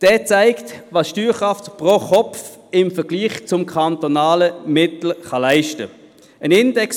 Dieser zeigt, was die Steuerkraft pro Kopf im Vergleich zum kantonalen Mittel leisten kann.